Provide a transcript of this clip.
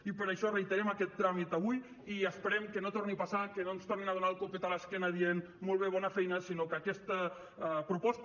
i per això reiterem aquest tràmit avui i esperem que no torni a passar que no ens tornin a donar el copet a l’esquena dient molt bé bona feina sinó que aquesta proposta